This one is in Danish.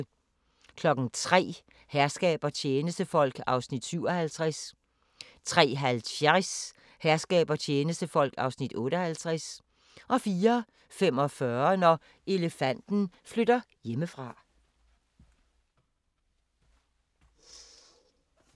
03:00: Herskab og tjenestefolk (57:68) 03:50: Herskab og tjenestefolk (58:68) 04:45: Når elefanten flytter hjemmefra